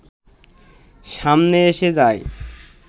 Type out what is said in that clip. সামনে এসে যায়